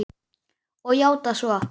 Og játað svo.